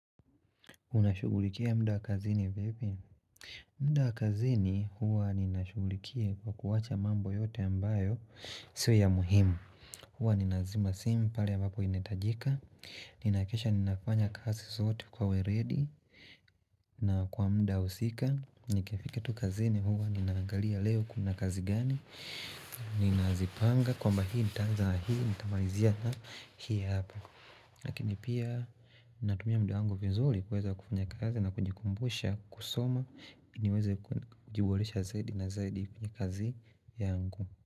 Unashughulikia mda kazini vipi? Mda kazini huwa ninashughulikia kwa kuwacha mambo yote ambayo sio ya muhimu Huwa ninazima simpale ambapo ina hitajika Ninakesha ninafanya kazi sote kwa weredi na kwa mda husika nikifika tu kazini huwa ninangalia leo kuna kazi gani Ninazipanga kwamba hii nita anza hii nitamalizia na hii hapa Lakini pia natumia mda wangu vizuri kuweza kufanya kazi na kunjikumbusha kusoma niweza kujiboresha zaidi na zaidi kwenye kazi yangu.